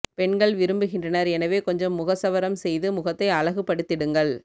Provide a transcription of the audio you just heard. பெண்கள் விரும்புகின்றனர் எனவே கொஞ்சம் முகசவரம் செய்து கொண்டு முகத்தை அழகு படுத்திடுங்கள்